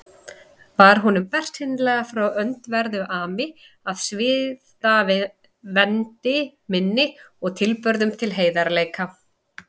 Var honum bersýnilega frá öndverðu ami að siðavendni minni og tilburðum til heilagleika.